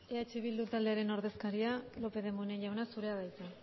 eskerrik asko sémper jauna eh bildu taldearen ordezkaria lópez de munain jauna zurea da hitza